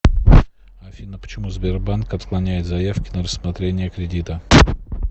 афина почему сбербанк отклоняет заявки на рассмотрение кредита